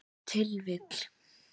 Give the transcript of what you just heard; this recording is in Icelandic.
Ef til vill.